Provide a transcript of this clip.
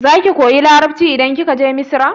Za ki koya Larabci idan kika je Misra?